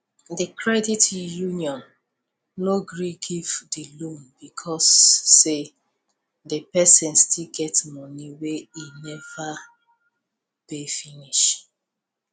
di credit union no gree give di loan because say di person still get money wey e never pay finish